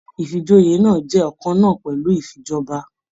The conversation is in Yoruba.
Ifíjòyè náà jẹ ọkanna pẹlú ifíjọba.